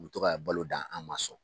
U bɛ to ka balo dan an ma sɔn,